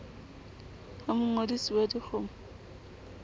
ho mongodisi wa di gmo